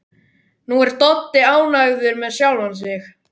Nú er Doddi ánægður með sjálfan sig.